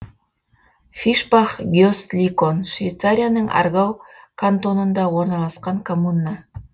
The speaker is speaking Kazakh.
фишбах гесликон швейцарияның аргау кантонында орналасқан коммуна